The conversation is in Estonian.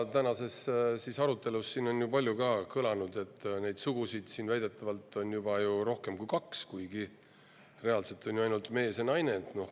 Tänases arutelus on ju palju kõlanud, et neid sugusid on siin väidetavalt juba rohkem kui kaks, kuigi reaalselt on ju ainult mees ja naine.